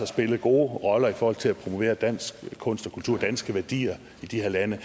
spillet gode roller i forhold til at promovere dansk kunst og kultur danske værdier i de her lande